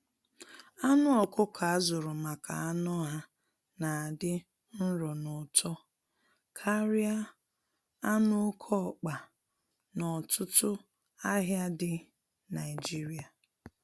Anụ ọkụkọ azụrụ maka anụ ha na adị nro n'ụtọ karịa anụ oke ọkpa na ọtụtụ ahịa dị Naijiria.